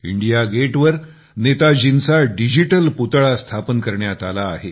India Gate वर नेताजींचा digital पुतळा स्थापन करण्यात आला आहे